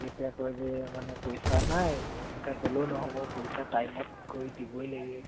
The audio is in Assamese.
এনেকে কয় যে মানে পইচা নাই এনেকে কলেও নহব time ত গৈ দিবই লাগিব